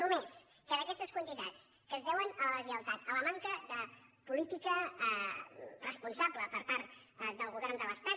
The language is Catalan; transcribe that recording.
només que d’aquestes quantitats que es deuen a la deslleialtat a la manca de política responsable per part del govern de l’estat